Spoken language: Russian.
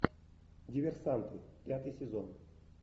диверсанты пятый сезон